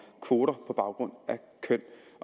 kvoter på baggrund af køn